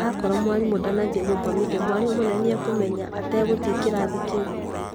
Akorwo mwarimũ ndanathiĩ gũthomithia mwarimũ mũnene nĩakũmenya ata gũthiĩ kĩrathi kĩu